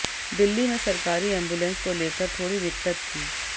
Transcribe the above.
दिल्ली में सरकारी एम्बुलेंस को लेकर थोड़ी दिक्कत थी